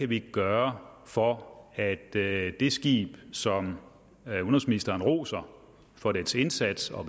vi kan gøre for at det skib som udenrigsministeren roser for dets indsats og